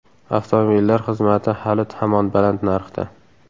Avtomobillar xizmati hali hamon baland narxda.